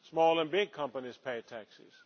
small and big companies pay taxes.